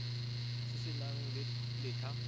se se nang le letlha